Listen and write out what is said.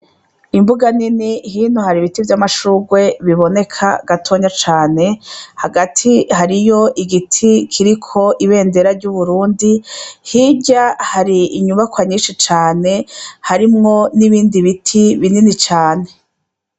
I mbuga nini hino hari ibiti vy'amashurwe biboneka gatonya cane hagati hariyo igiti kiriko ibendera ry'uburundi, hirya hari inyubakwa nyinshi cane harimwo n'ibindi biti binini cane .